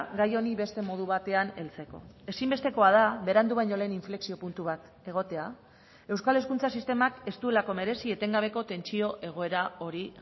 gai honi beste modu batean heltzeko ezinbestekoa da berandu baino lehen inflexio puntu bat egotea euskal hezkuntza sistemak ez duelako merezi etengabeko tentsio egoera hori